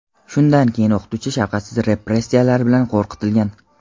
Shundan keyin o‘qituvchi shafqatsiz repressiyalar bilan qo‘rqitilgan.